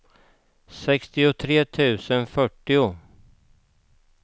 sextiotre tusen fyrtio